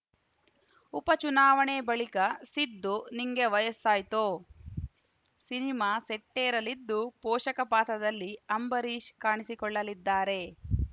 ಉಪ ಚುನಾವಣೆ ಬಳಿಕ ಸಿದ್ದು ನಿಂಗೆ ವಯಸ್ಸಾಯ್ತೋ ಸಿನಿಮಾ ಸೆಟ್ಟೇರಲಿದ್ದು ಪೋಷಕ ಪಾತ್ರದಲ್ಲಿ ಅಂಬರೀಶ್‌ ಕಾಣಿಸಿಕೊಳ್ಳಲಿದ್ದಾರೆ